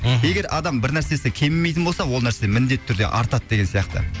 мхм егер адам бір нәрсесі кемімейтін болса ол нәрсе міндетті түрде артады деген сияқты